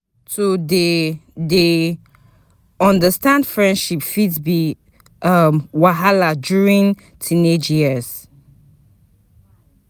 To dey dey understand friendships fit be um wahala during teenage years.